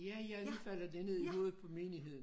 Ja ja nu falder det ned i hovedet på menigheden